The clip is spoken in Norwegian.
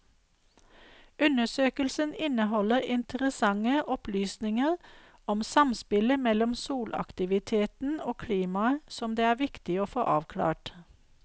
Undersøkelsen inneholder interessante opplysninger om samspillet mellom solaktiviteten og klimaet som det er viktig å få avklart.